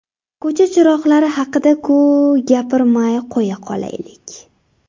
Ko‘cha chiroqlari haqida-ku, gapirmay qo‘ya qolaylik!